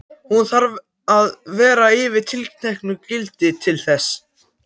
Hún þarf að vera yfir tilteknu gildi til þess.